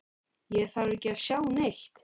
Ég þarf ekki að sjá neitt.